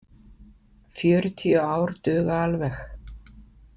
Fjörutíu ár duga alveg.